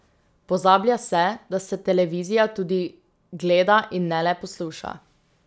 Pozablja se, da se televizija tudi gleda in ne le posluša.